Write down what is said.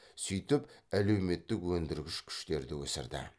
сөйтіп әлеуметтік өндіргіш күштерді өсірді